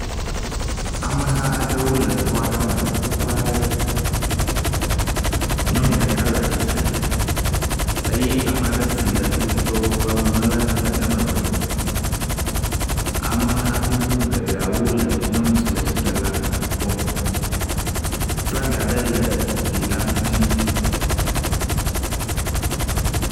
Ameha aɖewo le xɔ aɖe me le ƒuƒoƒe nyɔnu ɖeka le atsitsre eye ameaɖe si le kpovitɔwo ƒe awu me la le emegbe ameha gbogbo geɖeawo le nyɔnu si le atsitsre la kpɔm flaga ɖe le glila ŋuti